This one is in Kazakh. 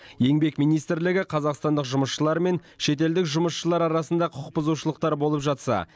еңбек министрлігі қазақстандық жұмысшылар мен шетелдік жұмысшылар арасында құқық бұзушылықтар болып жатса